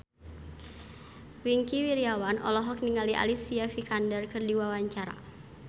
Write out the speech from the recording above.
Wingky Wiryawan olohok ningali Alicia Vikander keur diwawancara